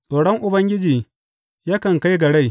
Tsoron Ubangiji yakan kai ga rai.